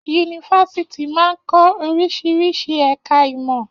Yunifásítì máa n kọ oríṣiríṣi ẹka ìmọ̀.